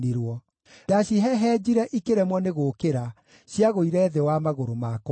Ndacihehenjire ikĩremwo nĩ gũũkĩra; ciagũire thĩ wa magũrũ makwa.